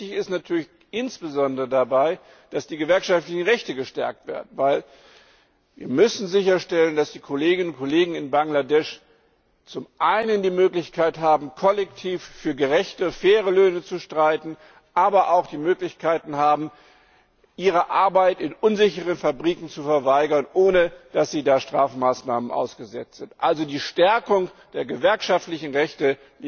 Wichtig ist dabei natürlich insbesondere, dass die gewerkschaftlichen Rechte gestärkt werden, denn wir müssen sicherstellen, dass die Kolleginnen und Kollegen in Bangladesch zum einen die Möglichkeit haben, kollektiv für gerechte, faire Löhne zu streiten, aber auch die Möglichkeit haben, ihre Arbeit in unsicheren Fabriken zu verweigern, ohne dass sie dafür Strafmaßnahmen ausgesetzt sind. Also Die Stärkung der gewerkschaftlichen Rechte